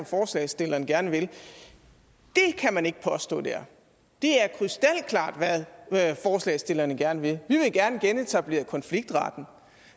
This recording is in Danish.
forslagsstillerne gerne vil det kan man ikke påstå at det er det er krystalklart hvad forslagsstillerne gerne vil vi vil gerne genetablere konfliktretten for